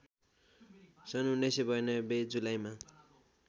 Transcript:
सन् १९९२ जुलाईमा